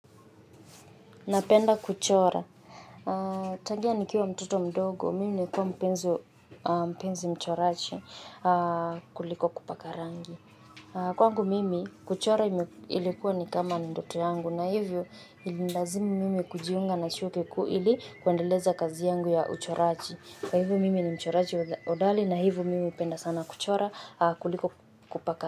Napenda kuchora. Tangia ni kiwa mtoto mdogo. Mimi nili kuwa mpenzi mpenzi mchoraji kuliko kupaka rangi. Kwangu mimi, kuchora ime ilikuwa ni kama ni ndoto yangu. Na hivyo ilini lazimu mimi kujiunga na shule kuu ili kuendeleza kazi yangu ya uchoraji. Kwa hivyo mimi ni mchoraji hodali na hivo mimi hupenda sana kuchora kuliko kupaka.